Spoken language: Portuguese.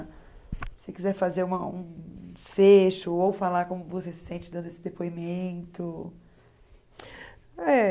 Se você quiser fazer um desfecho ou falar como você se sente dando esse depoimento. Eh